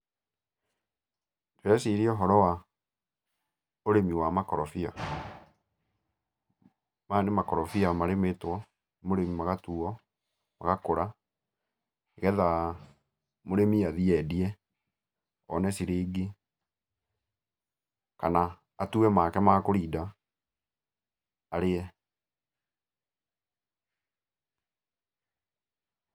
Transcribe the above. Ndĩreciria ũhoro wa, ũrĩmi wa makorobia. Maya nĩ makorobia marĩmĩtwo, mũrĩmi magatuo, magakũra, nĩgethaa mũrĩmi athiĩ endie, one ciringi kana atue make ma kũrinda, arĩe. Pause